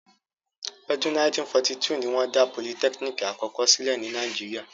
Ọdún 1942 ni wọ́n dá politẹ́kínìkì àkọ́kọ́ sílẹ̀ ní Nàíjíríà.